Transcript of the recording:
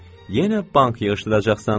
Yenə bank yığışdıracaqsan.